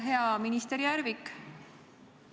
Hea minister Järvik!